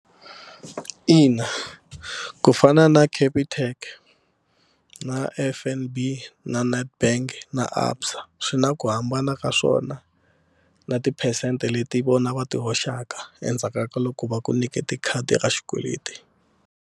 Ina ku fana na Capitec na F_N_B na Nedbank na ABSA swi na ku hambana ka swona na tiphesente leti vona va ti hoxaka endzhaku ka loko va ku nyikete khadi ra xikweleti.